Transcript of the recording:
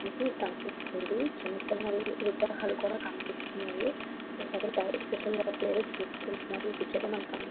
మనక కనిపిస్తుంది చిన్నచిన్నవి విగ్రహాలు కూడా కనిపిస్తున్నాయి. ఒక అతను ఏదో చూసుకుంటున్నాడు. ఈ పిక్చర్ లో --